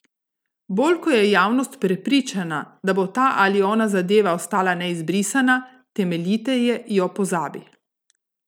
Bolj ko je javnost prepričana, da bo ta ali ona zadeva ostala neizbrisna, temeljiteje jo pozabi.